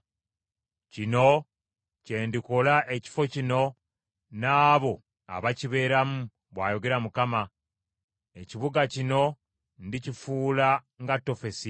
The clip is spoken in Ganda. Kino kye ndikola ekifo kino n’abo abakibeeramu, bw’ayogera Mukama . Ekibuga kino ndikifuula nga Tofesi.